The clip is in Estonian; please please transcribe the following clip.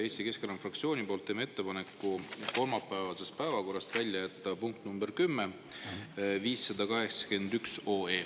Eesti Keskerakonna fraktsioon teeb ettepaneku kolmapäevasest päevakorrast välja jätta punkt nr 10: 581 OE.